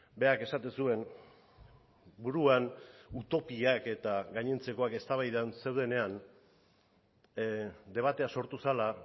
berak esaten zuen buruan utopiak eta gainontzekoak eztabaidan zeudenean debatea sortu zela